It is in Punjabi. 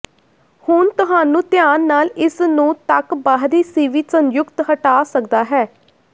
ਹੁਣ ਤੁਹਾਨੂੰ ਧਿਆਨ ਨਾਲ ਇਸ ਨੂੰ ਤੱਕ ਬਾਹਰੀ ਸੀਵੀ ਸੰਯੁਕਤ ਹਟਾ ਸਕਦਾ ਹੈ